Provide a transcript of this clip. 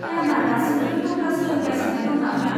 क्याना दासिमबो टब्ला सोलोंगासिनो दं नामा?